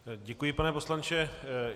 Děkuji, pane poslanče.